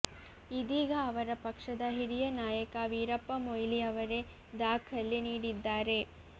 ಇದೀಗ ಅವರ ಪಕ್ಷದ ಹಿರಿಯ ನಾಯಕ ವೀರಪ್ಪಮೊಯ್ಲಿ ಅವರೆ ದಾಖಲೆ ನೀಡಿದ್ದಾರೆ